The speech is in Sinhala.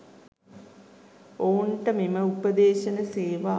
ඔවුන්ට මෙම උපෙද්ශන සේවා